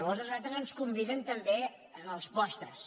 nosaltres ens hi conviden també a les postres